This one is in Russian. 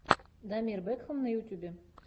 дамир бэкхам на ютьюбе